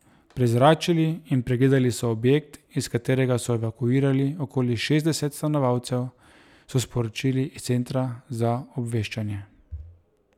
Prezračili in pregledali so objekt, iz katerega so evakuirali okoli šestdeset stanovalcev, so sporočili iz Centra za obveščanje.